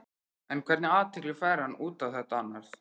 En hvernig athygli fær hann út á þetta annars?